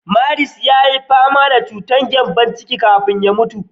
Marcus yayi fama da chutar gyambon ciki kafin ya mutu.